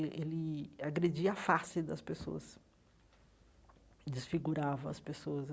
Eh ele agredia a face das pessoas, desfigurava as pessoas.